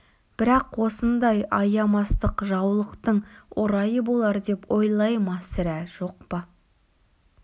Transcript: бірақ осындай аямастық жаулықтың орайы болар деп ойлай ма сірә жоқ па